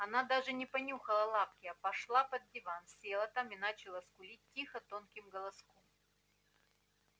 она даже не понюхала лапки а пошла под диван села там и начала скулить тихо тонким голоском